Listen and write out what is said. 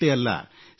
ಅಷ್ಟೇ ಅಲ್ಲ